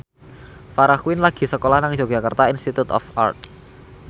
Farah Quinn lagi sekolah nang Yogyakarta Institute of Art